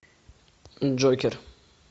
джокер